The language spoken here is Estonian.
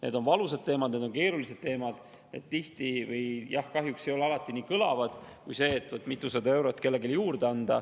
Need on valusad teemad, need on keerulised teemad, need jah, kahjuks ei ole alati nii kõlavad kui see, et anda kellelegi mitusada eurot juurde.